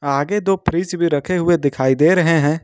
आगे दो फ्रिज भी रखे हुए दिखाई दे रहे हैं।